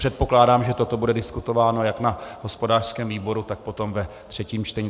Předpokládám, že toto bude diskutováno jak na hospodářském výboru, tak potom ve třetím čtení.